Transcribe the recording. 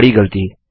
बड़ी गलती